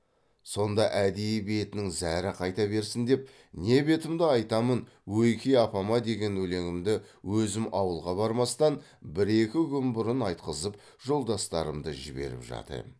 сонда әдейі бетінің зәрі қайта берсін деп не бетімді айтамын ойке апама деген өлеңімді өзім ауылға бармастан бір екі күн бұрын айтқызып жолдастарымды жіберіп жат ем